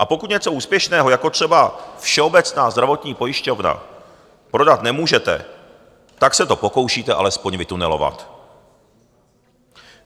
A pokud něco úspěšného, jako třeba Všeobecnou zdravotní pojišťovnu, prodat nemůžete, tak se to pokoušíte alespoň vytunelovat.